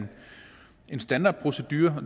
en standardprocedure